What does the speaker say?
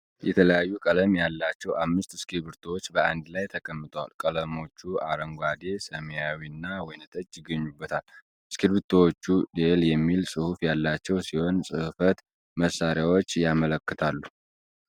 የተለያዩ ቀለማት ያላቸው አምስት እስክርቢቶዎች በአንድ ላይ ተቀምጠዋል:: ቀለሞቹ አረንጓዴ፣ ሰማያዊና ወይንጠጅ ይገኙበታል:: እስክርቢቶዎቹ 'Deli' የሚል ጽሑፍ ያላቸው ሲሆን፣ ጽሕፈት መሣሪያዎችን ያመለክታሉ::